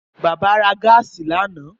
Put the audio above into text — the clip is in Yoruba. Bàbá ra gáàsì lánàá